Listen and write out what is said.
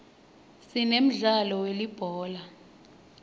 sinemdlalo welibhola